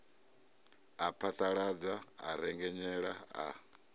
a phaḓaladza a rengenyela a